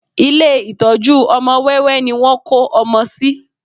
Ilé ìtọ́jú ọmọ wẹ́wẹ́ ni wọ́n kó ọmọ sí